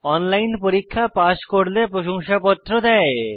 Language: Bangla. অনলাইন পরীক্ষা পাস করলে প্রশংসাপত্র দেয়